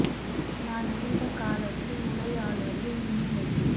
நான் இருந்த காலத்தில் உடையாளூரில் மின் இணைப்பு